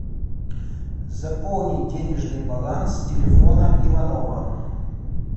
заполнить денежный баланс телефона иванова